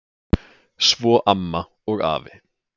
Svo amma og afi.